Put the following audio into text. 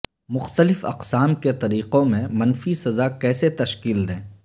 مختلف اقسام کے طریقوں میں منفی سزاء کیسے تشکیل دیں